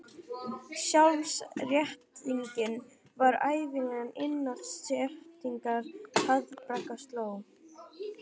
Sjálfsréttlætingin var ævinlega innan seilingar ef í harðbakka sló.